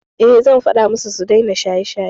Eh, zan faɗa musu su daina shaye-shaye.